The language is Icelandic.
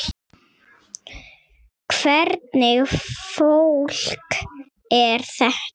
Hvernig fólk er þetta?